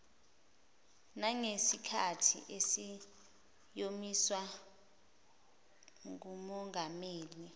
nangesikhathi esiyomiswa ngumongameli